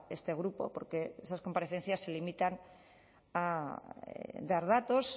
este grupo porque esas comparecencias se limitan a dar datos